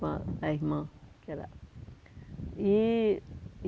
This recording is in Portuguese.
Com a irmã, com a irmã, que era... E